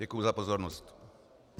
Děkuji za pozornost.